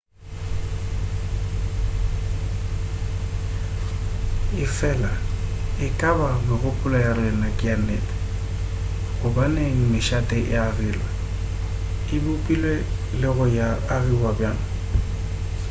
efela e ka ba megopolo ya rena ke ya nnete gobaneng mešate e agilwe e bopilwe le go agiwa bjang